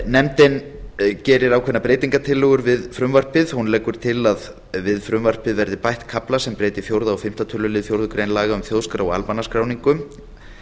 nefndin gerir ákveðnar breytingartillögur við frumvarpið hún leggur til að við frumvarpið verði bætt kafla sem breyti fjórða og fimmta tölulið fjórðu grein laga um þjóðskrá og almannaskráningu